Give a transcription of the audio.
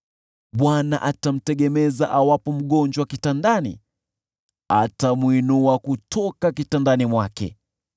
Bwana atamtegemeza awapo mgonjwa kitandani, atamwinua kutoka kitandani mwake.